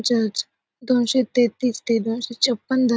जज दोनशे तेहतीस ते दोनशे छप्पन --